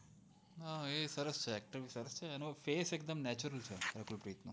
હા એ સરસ acting કરશે અનો face એકદમ natural છે